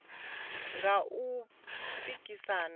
nga u tou pikisana kana